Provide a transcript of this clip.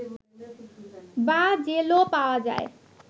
বা জেলো পাওয়া যায়